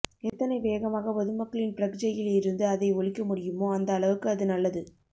எத்தனை வேகமாக பொதுமக்களின் பிரக்ஞையில் இருந்து அதை ஒழிக்க முடியுமோ அந்த அளவுக்கு அது நல்லது